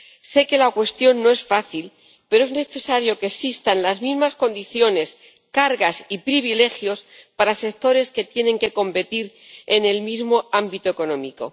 Sé que la cuestión no es fácil, pero es necesario que existan las mismas condiciones, cargas y privilegios para sectores que tienen que competir en el mismo ámbito económico.